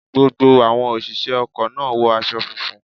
Gbogbo àwọn òṣìṣẹ́ ọkọ̀ náà wọ aṣọ funfun.